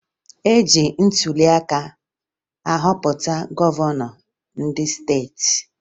E ji ntụliaka ahọpụta gọvanọ ndị steeti